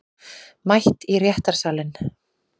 Mætt í réttarsalinn